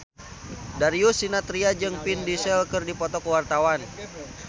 Darius Sinathrya jeung Vin Diesel keur dipoto ku wartawan